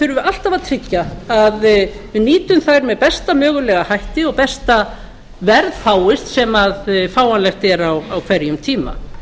við alltaf að tryggja að við nýtum þær með besta mögulega hætti og besta verð fáist sem fáanlegt er á hverjum tíma